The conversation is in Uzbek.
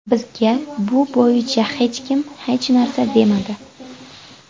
Bizga bu bo‘yicha hech kim hech narsa demadi.